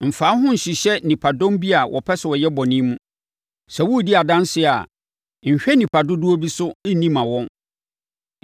“Mfa wo ho nhyehyɛ nnipadɔm bi a wɔpɛ sɛ wɔyɛ bɔne mu. Sɛ woredi adanseɛ a, nhwɛ nnipa dodoɔ bi so nni mma wɔn.